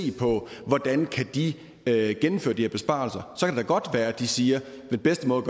på hvordan de kan gennemføre de her besparelser så kan godt være at de siger den bedste måde